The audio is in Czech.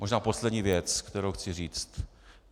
Možná poslední věc, kterou chci říct.